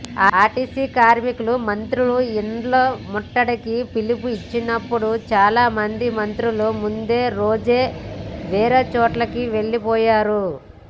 RTC కార్మికులు మంత్రుల ఇండ్ల ముట్టడికి పిలుపు ఇచ్చినప్పుడు చాలా మంది మంత్రులు ముందు రోజే వేరే చోటికి వెళ్లిపోయారు